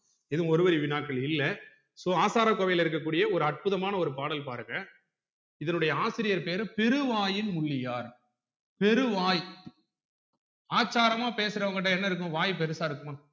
எதும் ஒரு வழி வினாக்கள் இல்ல so ஆசாரகோவையில் இருக்ககூடிய ஒரு அற்புதமான ஒரு பாடல் பாருங்க இதனுடைய ஆசிரியர் பேரு பெருவாயின் முள்ளியார் பெருவாய் ஆச்சாரமா பேசுறவங்க கிட்ட என்ன இருக்கும் வாய் பெருசா இருக்குமா